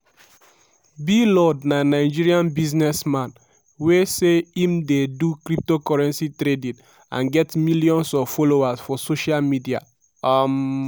blord na nigerian businessman wey say im dey do cryptocurrency trading and get millions of followers for social media. um